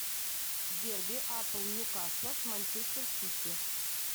дерби апл ньюкасла с манчестер сити